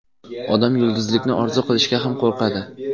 Odam yulduzlikni orzu qilishga ham qo‘rqadi.